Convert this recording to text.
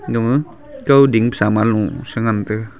agama kawding saman low sa ngan tega.